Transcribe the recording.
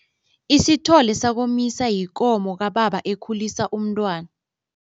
Isithole sakomisa yikomo kababa ekhulisa umntwana.